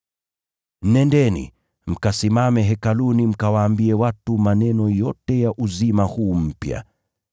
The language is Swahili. “Nendeni, mkasimame Hekaluni mkawaambie watu maneno yote ya uzima huu mpya.”